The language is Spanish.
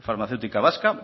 farmacéutica vasca